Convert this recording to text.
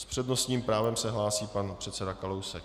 S přednostním právem se hlásí pan předseda Kalousek.